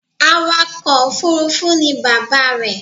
Awakọ̀ òfurufú ni bàbá rẹ̀